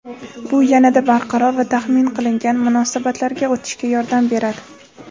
bu "yanada barqaror va taxmin qilingan munosabatlarga" o‘tishga yordam beradi.